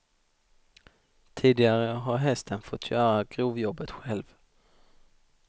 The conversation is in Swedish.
Tidigare har hästen fått göra grovjobbet själv.